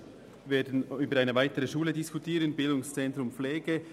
Wir werden über eine weitere Schule diskutieren, nämlich über das BZ Pflege.